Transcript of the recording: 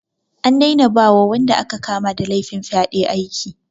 An daina ba wa wanda aka kama da laifin fyaɗe aiki.